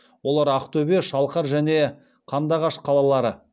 олар ақтөбе шалқар және қандыағаш қалалары